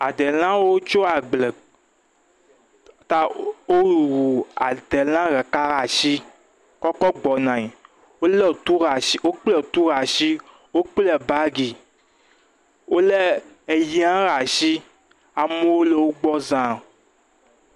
Adelãwo tso agble ta wowuu adelã ɖeka laa ashi kɔ kɔ gbɔnae. Wolé tu laa ashi wokple tu laa ashi, wokple baagi, wolé eyi hã ɖaa ashi. Amewo le wogbɔ zãa.